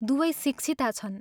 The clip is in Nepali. दुवै शिक्षिता छन्।